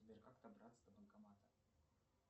сбер как добраться до банкомата